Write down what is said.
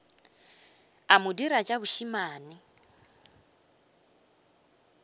a mo dira tša bošemane